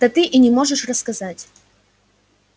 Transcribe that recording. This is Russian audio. да ты и не можешь рассказать